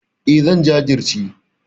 E, zan jajirce.